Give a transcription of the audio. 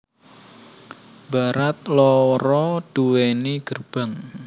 Barat loro duweni gerbang